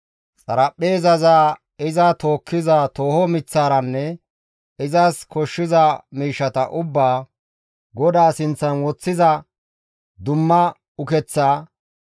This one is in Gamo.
xaraphpheezaza, iza tookkiza tooho miththataranne izas koshshiza miishshata ubbaa, GODAA sinththan woththiza dumma ukeththa;